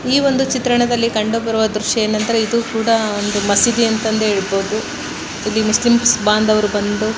ಈ ಚಿತ್ರಣ ದಲ್ಲಿ ಕಂಡು ಬರುವ ದೃಶ್ಯ ಏನೆಂದರೆ ಇದು ಕೂಡ ಒಂದು ಮಸೀದಿ ಅಂತದೇ ಹೇಳಬಹುದು ಇಲ್ಲಿ ಮುಸ್ಲಿಂ ಬಾಂಧವರು ಬಂದು --